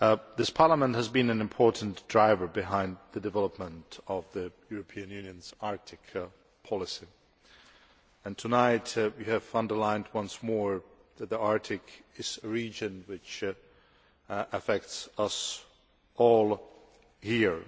This Parliament has been an important driver behind the development of the European Union's Arctic policy, and tonight we have underlined once more that the Arctic is a region which affects all of us here.